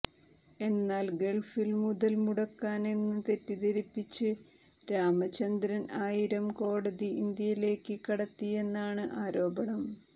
എന്നാൽ ഗൾഫിൽ മുതൽ മുടക്കാനെന്ന് തെറ്റിദ്ധരിപ്പിച്ച് രാമചന്ദ്രൻ ആയിരം കോടി ഇന്ത്യയിലേക്ക് കടത്തിയെന്നാണ് ആരോപണം